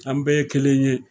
An bɛɛ ye kelen ye